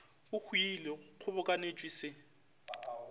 e hwilego go kgobokanetšwe se